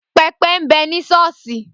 Pẹpẹ ń bẹ ní Sọ́ọ́sì.